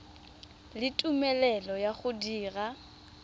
le tumelelo ya go dira